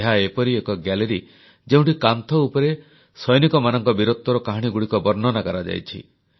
ଏହା ଏପରି ଏକ ଗ୍ୟାଲେରୀ ଯେଉଁଠି କାନ୍ଥ ଉପରେ ସୈନିକମାନଙ୍କ ବୀରତ୍ୱର କାହାଣୀଗୁଡ଼ିକ ବର୍ଣ୍ଣନା କରାଯାଇଛି